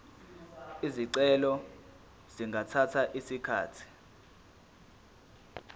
izicelo zingathatha isikhathi